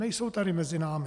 Nejsou tady mezi námi.